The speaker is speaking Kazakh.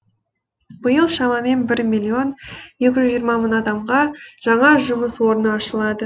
биыл шамамен бір миллион екі жүз жиырма мың адамға жаңа жұмыс орны ашылады